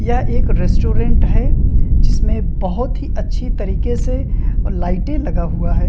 यह एक रेस्टोरेंट है जिसमे में बहुत ही अच्छी तरह से लाइटे लगा हुआ है।